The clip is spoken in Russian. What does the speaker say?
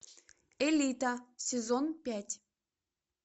элита сезон пять